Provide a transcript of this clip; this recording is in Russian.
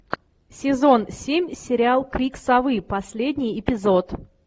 сезон семь сериал крик совы последний эпизод